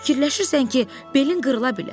Fikirləşirsən ki, belin qırıla bilər?